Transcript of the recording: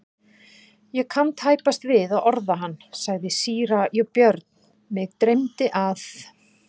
Ég kann tæpast við að orða hann, sagði síra Björn,-mig dreymdi að.